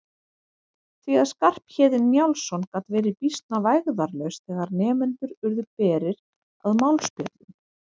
Því að Skarphéðinn Njálsson gat verið býsna vægðarlaus þegar nemendur urðu berir að málspjöllum.